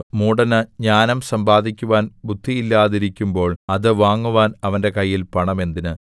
മൂഢന് ജ്ഞാനം സമ്പാദിക്കുവാൻ ബുദ്ധിയില്ലാതിരിക്കുമ്പോൾ അത് വാങ്ങുവാൻ അവന്റെ കയ്യിൽ പണം എന്തിന്